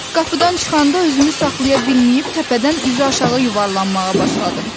Qapıdan çıxanda özümü saxlaya bilməyib təpədən üzüaşağı yuvarlanmağa başladım.